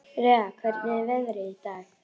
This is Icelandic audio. Rea, hvernig er veðrið í dag?